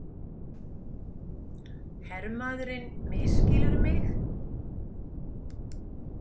Hermaðurinn misskilur mig.